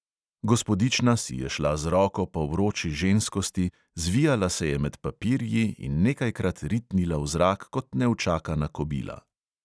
Gospodična si je šla z roko po vroči ženskosti, zvijala se je med papirji in nekajkrat ritnila v zrak kot neučakana kobila.